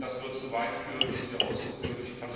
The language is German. Aber es würde zu weit führen, dies hier auszuführen.